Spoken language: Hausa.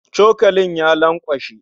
Cokalin ya lankwashe